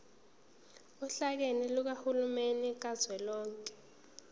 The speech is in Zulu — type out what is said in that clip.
ohlakeni lukahulumeni kazwelonke